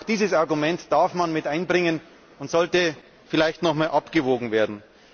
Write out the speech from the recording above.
Auch dieses Argument darf man mit einbringen, und es sollte vielleicht nochmals abgewogen werden.